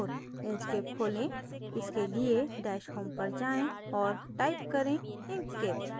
inkscape खोलें इसके लिए dash home पर जाएँ और type करें inkscape